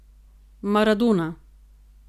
Maradona.